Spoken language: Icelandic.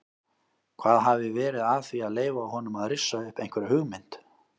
Hvað hafi verið að því að leyfa honum að rissa upp einhverja hugmynd?